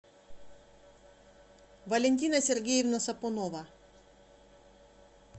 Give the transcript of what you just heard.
валентина сергеевна сапунова